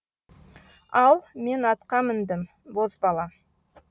ал мен атқа міндім бозбала